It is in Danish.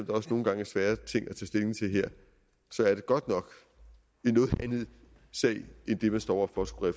også nogle gange er svære ting at stilling til her så er det godt nok en noget anden sag end det man står over for at skulle